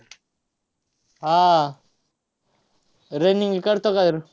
हा आह running करतो का